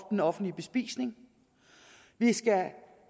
den offentlige bespisning vi skal